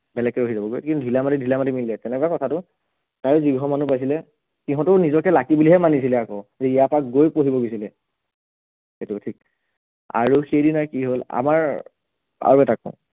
তেনেকে হৈ যাবগৈ কিন্তু ধিলা মাটি ধিলা মাটি মিলি যায় তেনেকুৱা কথাটো, আৰু যিঘৰ মানুহ পাইছিলে সিহঁতেও নিজকে lucky বুলিহে মানিছিলে আকৌ যে ইয়াৰ পৰা গৈ পঢ়িব গৈছিলে, সেইটোও ঠিক, আৰু সেইদিনা কি হ'ল আমাৰ, আৰু এটা কও